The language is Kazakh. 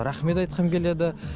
рахмет айтқым келеді